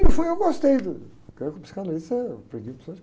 E no fundo eu gostei do, porque eu com psicanalista eu aprendi muitas